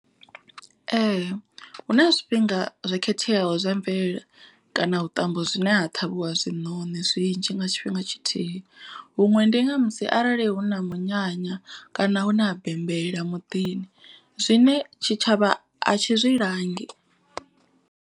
Ee hu na zwifhinga zwo khetheaho zwa mvelele kana vhuṱambo zwine ha ṱhavhiwa zwiṋoni zwinzhi nga tshifhinga tshithihi. Huṅwe ndi nga musi arali hu na munyanya kana hu na bembela muḓini zwine tshitshavha a tshi zwi langi.